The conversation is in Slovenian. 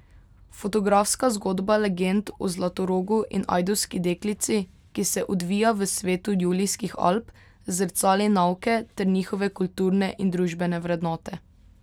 Fotografska zgodba legend o Zlatorogu in Ajdovski deklici, ki se odvija v svetu Julijskih Alp, zrcali nauke ter njihove kulturne in družbene vrednote.